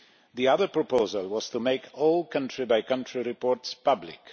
The other proposal was to make all country-by-country reports public.